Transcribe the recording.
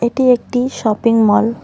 এটি একটি shopping mall.